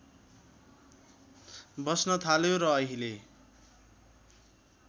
बस्न थाल्यो र अहिले